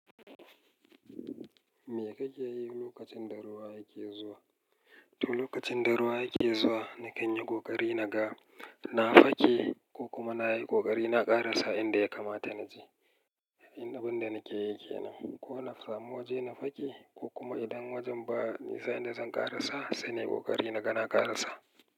Me kake yi lokacin daruwa yake zuwa? To lokacin daruwa yake zuwa, nakan yi ƙoƙari na ga, na fake ko kuma na yi ƙoƙari na ƙarasa inda ya kamata na je. Ni abin da nake yi kenan. Ko na samu waje na fake ko kuma idan wajen ba nisa inda zan ƙarasa, sannan yi ƙoƙari na ga na ƙarasa.